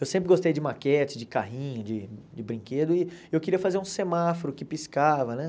Eu sempre gostei de maquete, de carrinho, de de brinquedo, e eu queria fazer um semáforo que piscava, né?